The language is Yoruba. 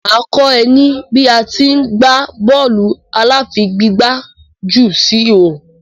Mà á kọ́ ẹ ní bí à á ti í gbá bọ́ọ̀lù aláfigigbá jù sí ihò.